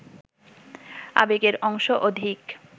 আবেগের অংশ অধিক